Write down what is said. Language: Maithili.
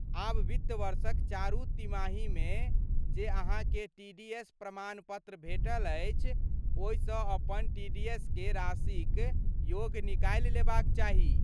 आब वित्त वर्षक चारू तिमाहीमे जे अहाँकेँ टीडीएस प्रमाण पत्र भेटल अछि ओहिसँ अपन टीडीएसके राशिक योग निकालि लेबाक चाही।